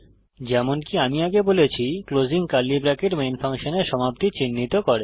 যেমনকি আমি আগে বলেছি ক্লোসিং কার্লি ব্রেকেট মেন ফাংশনের সমাপ্তি চিহ্নিত করে